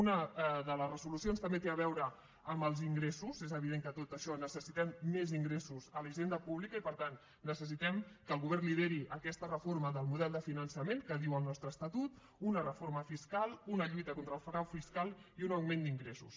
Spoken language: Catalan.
una de les resolucions també té a veure amb els ingressos és evident que per a tot això necessitem més ingressos a la hisenda pública i per tant necessitem que el govern lideri aquesta reforma del model de finançament que diu el nostre estatut una reforma fiscal una lluita contra el frau fiscal i un augment d’ingressos